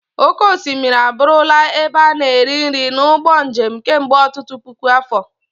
Oké osimiri abụrụla ebe a na-eri nri na ụgbọ njem kemgbe ọtụtụ puku afọ.